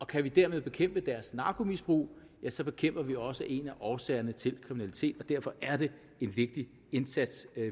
kan vi derfor bekæmpe deres narkomisbrug ja så bekæmper vi også en af årsagerne til kriminalitet og derfor er det en vigtig indsats